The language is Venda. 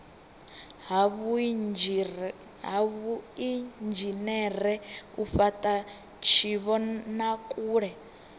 ha vhuinzhinere u fhata tshivhonakule